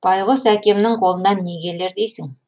байқұс әкемнің қолынан не келер дейсің